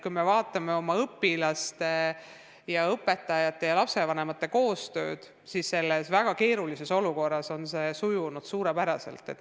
Kui me vaatame oma õpilaste ja õpetajate ja lapsevanemate koostööd, siis näeme, et selles väga keerulises olukorras on see sujunud suurepäraselt.